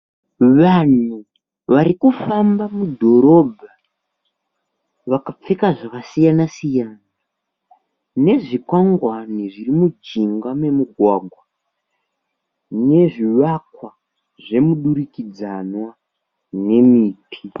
Vanhu varikufamba mudhorobha vakapfeka zvakasiyana siyana nezvi kwangwani zviri mujinga memugwagwa nezvivakwa zvemudurikidzanwa nemiti.